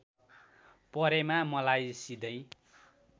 परेमा मलाई सिधै